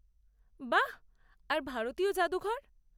বাহ...আর ভারতীয় জাদুঘর?